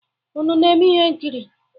Unu na-eme ihe nkiri?